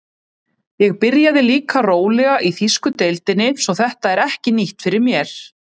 Ég byrjaði líka rólega í þýsku deildinni svo þetta er ekki nýtt fyrir mér.